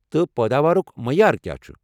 تہٕ پٲداوارُک معیار کیٚا چھُ؟